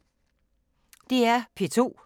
DR P2